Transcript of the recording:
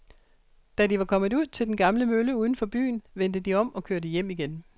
Da de var kommet ud til den gamle mølle uden for byen, vendte de om og kørte hjem igen.